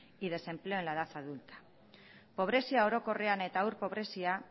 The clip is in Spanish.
y desempleo en la edad adulta pobrezia orokorrean eta haur pobrezia